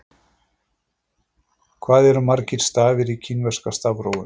Hvað eru margir stafir í kínverska stafrófinu?